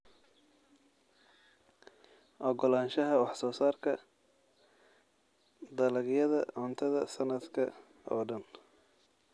Ogolaanshaha wax soo saarka dalagyada cuntada sanadka oo dhan.